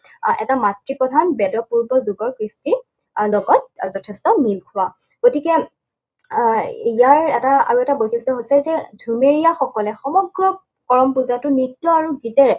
আহ এটা মাতৃপ্ৰধান বেদপূৰ্বক যুগৰ সৃষ্টি আৰু লগত যথেষ্ঠ মিলখোৱা। গতিকে আহ ইয়াৰ এটা আৰু এটা বৈশিষ্ট হৈছে যে ঝুমেৰীয়াসকলে সমগ্ৰ কৰম পূজাটো নৃত্য আৰু গীতেৰে